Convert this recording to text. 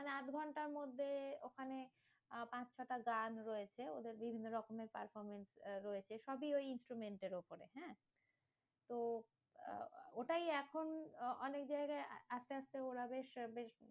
মানে আধঘন্টার মধ্যে ওখানে আহ পাঁচ ছটা গান রয়েছে, ওদের বিভিন্ন রকমের performance রয়েছে, সবই ওই instrument এর উপরে। হ্যাঁ? তো আহ ওটাই এখন অ~ অনেক জায়গায় আস্তে আস্তে ওরা বেশ বেশ